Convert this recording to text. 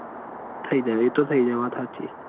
થઇ જાય એતો થઇ જાય વાત હાચી